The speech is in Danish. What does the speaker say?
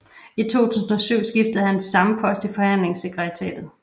I 2007 skiftede han til samme post i forhandlingssekretariatet